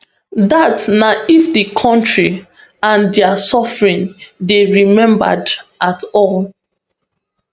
dat na if di kontri and dia suffering dey remembered at all